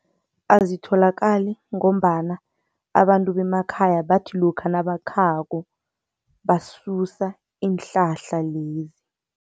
Azitholakali ngombana abantu bemakhaya bathi lokha nabakhako basusa iinhlahla lezi.